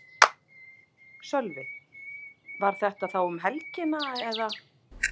Sölvi: Var þetta þá um helgi eða?